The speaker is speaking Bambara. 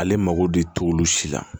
Ale mago de t'olu si la